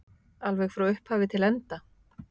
Alveg frá upphafi til enda?